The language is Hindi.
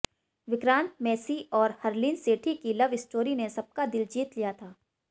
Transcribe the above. विक्रांत मैसी और हरलीन सेठी की लव स्टोरी ने सबका दिल जीत लिया था